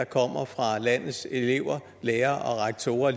kommer fra landets elever lærere og rektorer